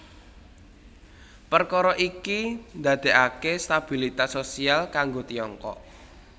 Perkara iki ndadekake stabilitas sosial kanggo Tiongkok